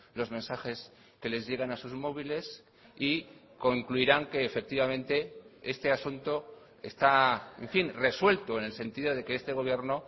los mensajes que les llegan a sus móviles y concluirán que efectivamente este asunto está en fin resuelto en el sentido de que este gobierno